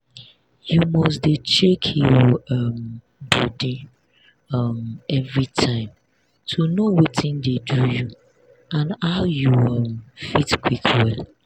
you must dey check your um body um everytime to know watin dey do you and how you um fit quick well.